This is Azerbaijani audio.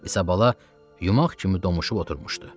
İsabala yumaq kimi domuşıb oturmuşdu.